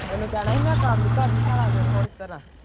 ਉਹਨੂੰ ਕਹਿਣਾ ਹੀ ਮੈਂ ਕੰਮ ਹੀ ਕਰਦੀ ਸਾਰਾ ਦਿਨ ਹੋਰ ਕੀ ਕਰਾਂ।